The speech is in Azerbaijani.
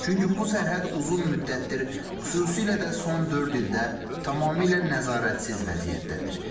Çünki bu sərhəd uzun müddətdir, xüsusilə də son dörd ildə tamamilə nəzarətsiz vəziyyətdədir.